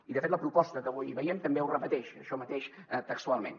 i de fet la proposta que avui veiem també ho repeteix això mateix textualment